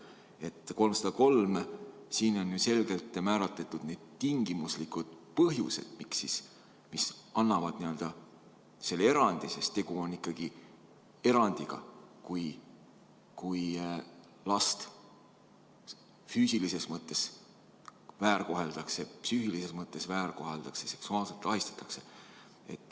Eelnõu 303 puhul on selgelt kindlaks määratud põhjused, mis annavad õiguse seda erandit rakendada, sest tegu on ikkagi erandiga: kui last füüsilises või psüühilises mõttes väärkoheldakse, seksuaalselt ahistatakse.